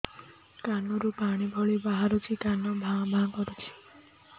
କାନ ରୁ ପାଣି ଭଳି ବାହାରୁଛି କାନ ଭାଁ ଭାଁ କରୁଛି